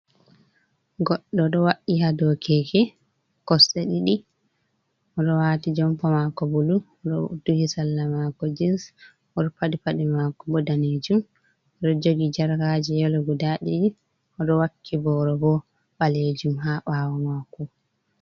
Goɗɗo ɗo wa’i hado keke, kosɗe ɗiɗi, oɗo wati jompa mako bulu oɗo duhi salla mako jens oɗo paɗi paɗe mako bo danejum, ɗo jogi jarkaji yelo guda ɗiɗi, oɗo wakki boro bo ɓalejum ha bawo mako.